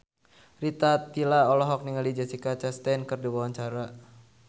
Rita Tila olohok ningali Jessica Chastain keur diwawancara